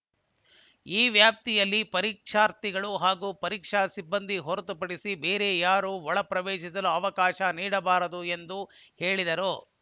ಈ ವ್ಯಾಪ್ತಿಯಲ್ಲಿ ಪರೀಕ್ಷಾರ್ಥಿಗಳು ಹಾಗೂ ಪರೀಕ್ಷಾ ಸಿಬ್ಬಂದಿ ಹೊರತುಪಡಿಸಿ ಬೇರೆ ಯಾರೂ ಒಳಪ್ರವೇಶಿಸಲು ಅವಕಾಶ ನೀಡಬಾರದು ಎಂದು ಹೇಳಿದರು